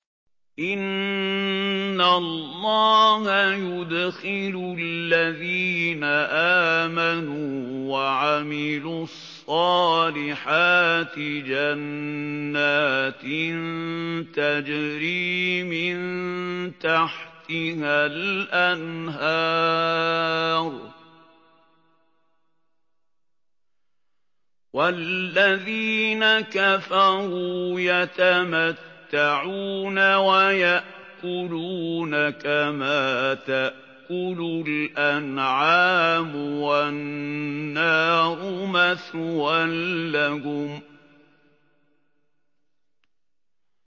إِنَّ اللَّهَ يُدْخِلُ الَّذِينَ آمَنُوا وَعَمِلُوا الصَّالِحَاتِ جَنَّاتٍ تَجْرِي مِن تَحْتِهَا الْأَنْهَارُ ۖ وَالَّذِينَ كَفَرُوا يَتَمَتَّعُونَ وَيَأْكُلُونَ كَمَا تَأْكُلُ الْأَنْعَامُ وَالنَّارُ مَثْوًى لَّهُمْ